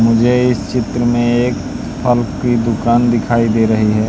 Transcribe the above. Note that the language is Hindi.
मुझे इस चित्र में एक फल की दुकान दिखाई दे रही है।